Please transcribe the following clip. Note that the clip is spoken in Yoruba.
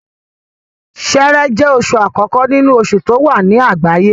Ṣẹẹrẹ jẹ́ oṣù àkókó nínú oṣù tí ó wà ní àgbáyé